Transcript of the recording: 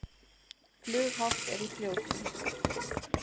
Flughált er í Fljótum